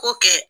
Ko kɛ